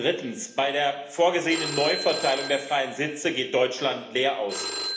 Drittens Bei der vorgesehenen Neuverteilung der freien Sitze geht Deutschland leer aus.